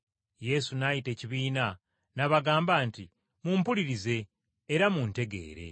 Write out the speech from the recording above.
Yesu n’ayita ekibiina n’abagamba nti, “Mumpulirize era mutegeere.